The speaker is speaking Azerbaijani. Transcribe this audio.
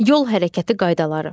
Yol hərəkəti qaydaları.